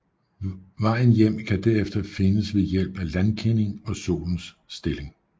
Vejen hjem kan derefter findes ved hjælp af landkending og solens stilling